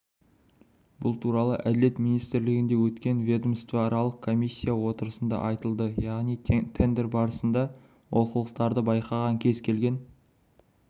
бұл туралы әділет министрлігінде өткен ведомствоаралық комиссия отырысында айтылды яғни тендер барысында олқылықтарды байқаған кез келген